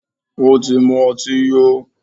Ó tí mú ọtí yó.